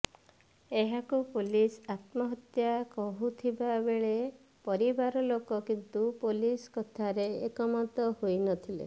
ଏହାକୁ ପୋଲିସ ଆତ୍ମହତ୍ୟା କହୁଥିବା ବେଳେ ପରିବାର ଲୋକ କିନ୍ତୁ ପୋଲିସ କଥାରେ ଏକମତ ହୋଇ ନଥିଲେ